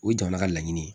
O ye jamana ka laɲini ye